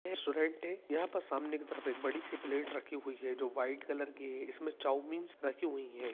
यहां पर सामने की तरफ एक बड़ी-सी प्लेट रखी हुई है जो व्हाइट कलर की हैं इसमें चाऊमीन्स रखी हुई है।